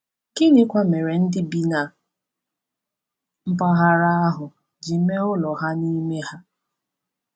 Gịnịkwa mere ndị bi na mpaghara ahụ ji mee ụlọ ha n’ime ha?